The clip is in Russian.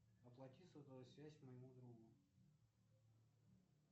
оплати сотовую связь моему другу